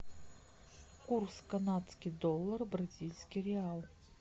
курс канадский доллар бразильский реал